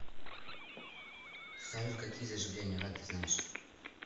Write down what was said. салют какие заживление ран ты знаешь